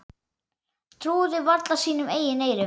Trúðu varla sínum eigin eyrum.